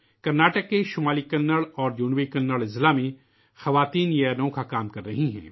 کرناٹک کے شمالی کنڑ اور جنوبی کنڑ ضلعوں میں خواتین یہ نیا کام کررہی ہیں